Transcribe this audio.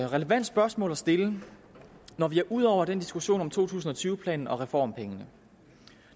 relevant spørgsmål at stille når vi er ude over den diskussion om to tusind og tyve planen og reformpengene